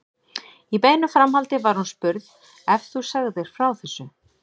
Í beinu framhaldi var hún spurð: Ef þú segðir frá þessu?